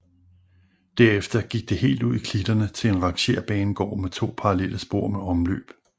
Derefter gik det helt ud i klitterne til en rangerbanegård med to parallelle spor med omløb